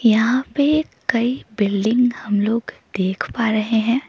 यहां पे कई बिल्डिंग हम लोग देख पा रहे हैं।